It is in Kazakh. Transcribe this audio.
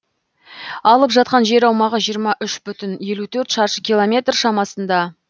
алып жатқан жер аумағы жиырма үш бүтін жүзден елу төрт шаршы километр шамасында